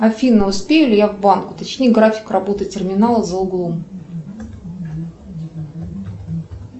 афина успею ли я в банк уточни график работы терминала за углом